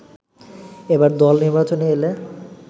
এবার দল নির্বাচনে এলে